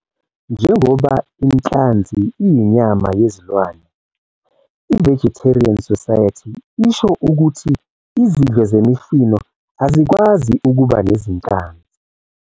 Njengoba inhlanzi iyinyama yezilwane, i-Vegetarian Society isho ukuthi izidlo zemifino azikwazi ukuba nezinhlanzi.